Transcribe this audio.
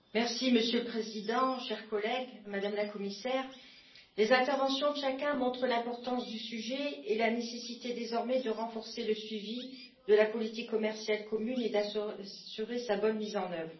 Monsieur le Président, chers collègues, Madame la Commissaire, les interventions de chacun montrent l'importance du sujet et la nécessité, désormais, de renforcer le suivi de la politique commerciale commune et d'assurer sa bonne mise en œuvre.